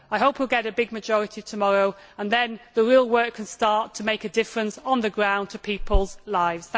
I hope we will get a big majority tomorrow and then the real work can start to make a difference, on the ground, to people's lives.